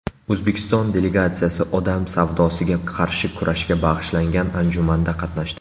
O‘zbekiston delegatsiyasi odam savdosiga qarshi kurashga bag‘ishlangan anjumanda qatnashdi.